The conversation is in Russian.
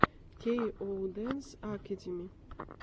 кей оу дэнс акэдими